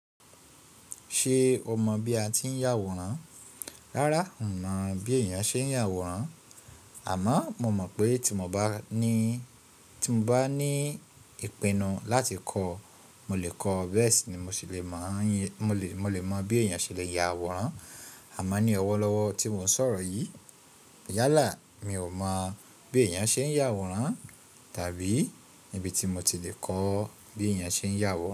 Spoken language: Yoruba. Ṣé o mọ̀ bí a ti ń yàwòrán? Rárá, n mọ̀ bí èèyàn ṣe ń yàwòrán, àmọ́ mo mọ̀ pé tí mo bá ní, tí mo bá ní ìpinnu láti kọ́, mo lè kọ́ bẹ́ẹ̀ sì ni mo sì le mọ̀, mo lè mọ̀ bí èyàn ṣe lè ya àwòrán. Àmá ní ọwọ́ lọ́wọ́ tí mò ń sọ̀rọ̀ yìí. Yálà mi ò mọ̀ bí èèyàn ṣe ń yàwòrán tàbí níbi tí mo ti le kọ́ bí èèyàn ṣe ń yàwòrán.